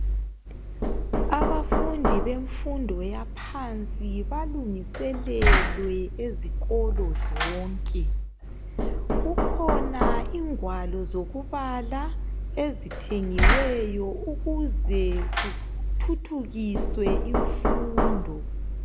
Abafundi bemfundo yaphansi balungeselelwe ezikolo zonke kukhona ingwalo zokubala ezithengiweyo ukuze kuthuthukiswe imfundo.